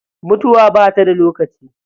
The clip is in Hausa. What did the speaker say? Mutuwa bata da lokaci.